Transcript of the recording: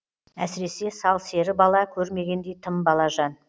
әсіресе сал сері бала көрмегендей тым балажан